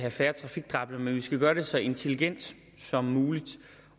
have færre trafikdræbte men vi skal gøre det så intelligent som muligt